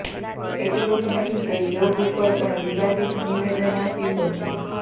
એટલું જ નહીં તે યોગ ઉપર પણ વિવાદીત નિવેદન આપ્યું હતું